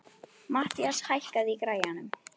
Mathías, hækkaðu í græjunum.